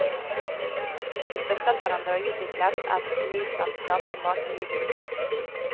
De støttet hverandre og utviklet et unikt vennskap som varte livet ut.